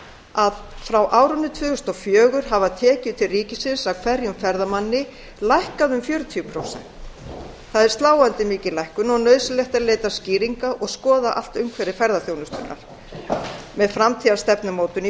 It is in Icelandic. að frá árinu tvö þúsund og fjögur hafa tekjur til ríkisins af hverjum ferðamanni lækkað um fjörutíu prósent það er landi mikil lækkun og nauðsynlegt að leita skýringa og skoða allt umhverfi ferðaþjónustunnar með framtíðarstefnumótun í